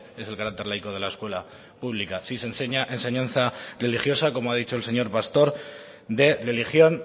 es el carácter laico de la escuela pública si se enseña enseñanza religiosa como ha dicho el señor pastor de religión